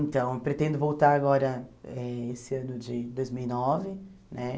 Então, pretendo voltar agora, eh esse ano de dois mil e nove, né?